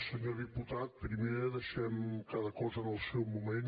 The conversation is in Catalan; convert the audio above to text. senyor diputat primer deixem cada cosa per al seu moment